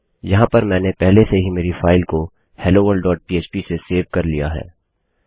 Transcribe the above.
यहाँ पर मैंने पहले से ही मेरी फाइल को helloworldपह्प से सेव कर लिया है